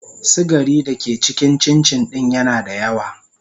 sugari da ke cikin cincin din yana da yawa.